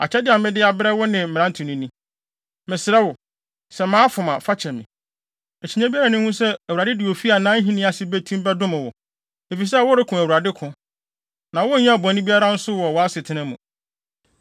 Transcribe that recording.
“Mesrɛ wo, sɛ mafom a, fa kyɛ me. Akyinnye biara nni ho sɛ Awurade de ofi a nʼahenni ase betim bɛdom wo, efisɛ woreko Awurade ko. Na wonyɛɛ bɔne biara nso wɔ wʼasetena mu.